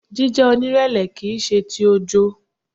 Jíjẹ́ onírẹ̀lẹ̀ kìí ṣe ti ojo.